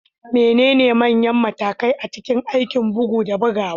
Menene manyan matakai a cikin aikin bugu da bugawa?